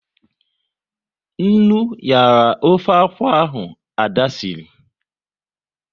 Nnu nyara ofe akwụ, Ada sịrị